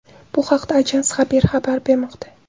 Bu haqda Ajans Haber xabar bermoqda .